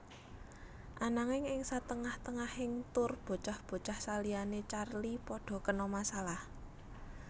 Ananging ing satengah tengahing tour bocah bocah saliyané Charlie padha kena masalah